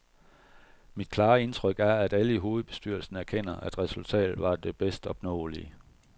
Mit klare indtryk er, at alle i hovedbestyrelsen erkender, at resultatet var det bedst opnåelige.